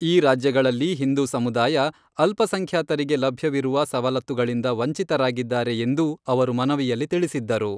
ಈ ರಾಜ್ಯಗಳಲ್ಲಿ ಹಿಂದೂ ಸಮುದಾಯ ಅಲ್ಪಸಂಖ್ಯಾತರಿಗೆ ಲಭ್ಯವಿರುವ ಸವಲತ್ತುಗಳಿಂದ ವಂಚಿತರಾಗಿದ್ದಾರೆ ಎಂದೂ ಅವರು ಮನವಿಯಲ್ಲಿ ತಿಳಿಸಿದ್ದರು.